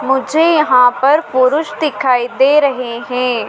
मुझे यहां पर पुरुष दिखाई दे रहे हैं।